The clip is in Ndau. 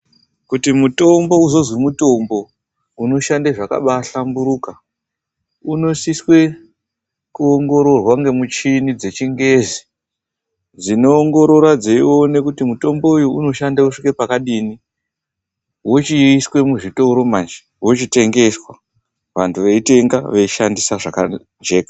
Kuti mutombo uzonzwi mutombo unoshanda zvakabaahlamburuka, unosiswe kuongororwa ngemuchini dzechingezi dzinoongorora dzeione kuti mutombo uyu unoshanda kusvike pakadini. Wochiiswa muzvitoro manje, wochitengeswa. Vantu veitenga, veishandisa zvakajeka.